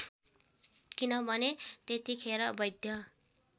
किनभने त्यतिखेर वैद्य